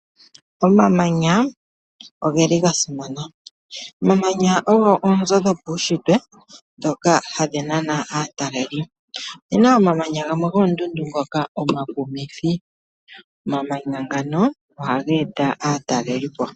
Omamanya ogeli ga simana. Omamanya ogo oonzo dhopaushitwe ndhoka hadhi nana aatalelipo. Opena omamanya gamwe goondundu ngoka omakumithi. Omamanya ngano ohaga eta aatalelipo.